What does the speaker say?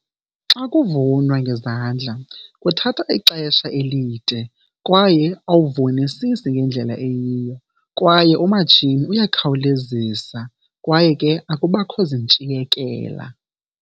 Xa kuvunwa ngezandla kuthatha ixesha elide kwaye uwuvunisisi ngendlela eyiyo, kwaye umatshini uyakhawulezisa kwaye ke akubakho zintshiyekela.